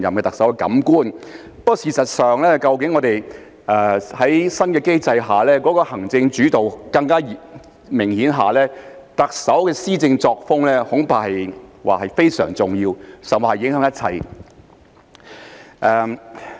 不過，事實上，在新的機制下行政主導更為明顯，特首的施政作風恐怕非常重要，甚或影響一切。